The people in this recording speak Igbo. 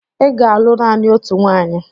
Ị ga-alụ naanị otu nwanyị!